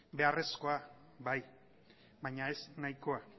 beharrezkoa bai baina ez nahikoa